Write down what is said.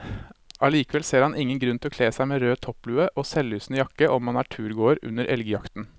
Allikevel ser han ingen grunn til å kle seg med rød topplue og selvlysende jakke om man er turgåer under elgjakten.